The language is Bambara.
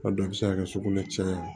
A dɔw bɛ se ka kɛ sugunɛ caya